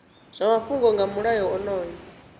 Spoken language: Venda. zwa mafhungo nga mulayo onoyu